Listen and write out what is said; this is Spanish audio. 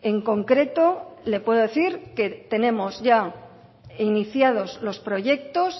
en concreto le puedo decir que tenemos ya iniciados los proyectos